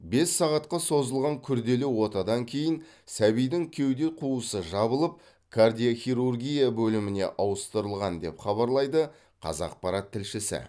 бес сағатқа созылған күрделі отадан кейін сәбидің кеуде қуысы жабылып кардиохирургия бөліміне ауыстырылған деп хабарлайды қазақпарат тілшісі